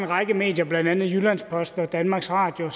række medier blandt andet jyllands posten og danmarks radio